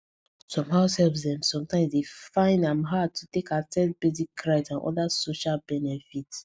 some househelps dey sometimes find am hard to take access basic right and oda social benefits